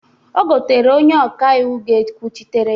Ọ gotara onye ọka iwu ga-ekwuchitara ya.